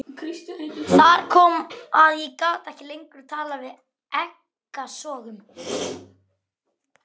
Þar kom að ég gat ekki lengur talað fyrir ekkasogum.